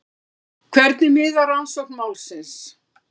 Hvernig miðar rannsókn málsins?